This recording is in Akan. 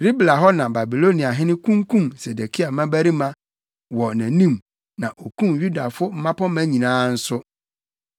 Ribla hɔ na Babiloniahene kunkum Sedekia mmabarima wɔ nʼanim na okum Yudafo mmapɔmma nyinaa nso.